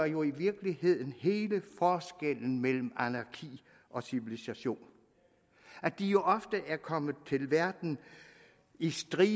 jo i virkeligheden udgør hele forskellen mellem anarki og civilisation at de ofte er kommet til verden i strømme